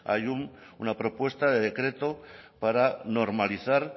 hay una propuesta de decreto para normalizar